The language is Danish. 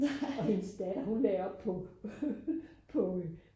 og hendes datter hun lagde op på